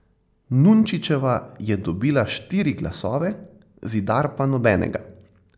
Nunčičeva je dobila štiri glasove, Zidar pa nobenega.